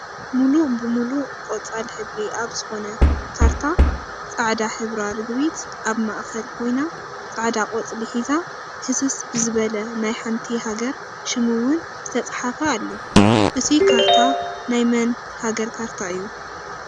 ሙሉእ ብሙሉእ ቆፃል ሕብሪ ኣብ ዝኮነ ካርታ ፃዕዳ ሕብራ ርግቢት ኣብ ማእከል ኮይና ፃዕዳ ቆፅሊ ሒዛ ህስስ ብዝበለ ናይ ሓንቲ ሃገር ሽም እውን ዝተፅሓፈ ኣሎ። እቱይ ካርታ ናይ መን ሃገር ካርታ እዩ?